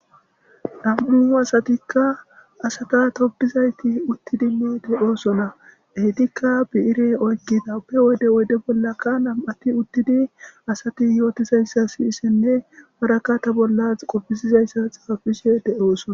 Dhamduu asatikka asata tobizayti uttidi meete oosona eitikka biire oykkida pe wode wode bollaka nam'ati uttidi asati yootizayssa siyisenne waraka ta bollas qoppisizayssa xaafisiweode oosona.